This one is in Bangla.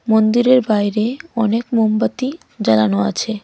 মন্দিরের বাইরে অনেক মোমবাতি জ্বালানো আছে।